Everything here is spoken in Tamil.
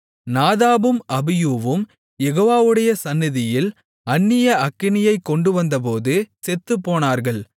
நாதாபும் அபியூவும் யெகோவாவுடைய சந்நிதியில் அந்நிய அக்கினியைக் கொண்டுவந்தபோது செத்துப்போனார்கள்